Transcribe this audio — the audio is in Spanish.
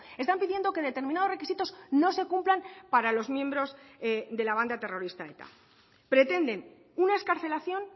están pidiendo que determinados requisitos no se cumplan para los miembros de la banda terrorista eta pretenden una excarcelación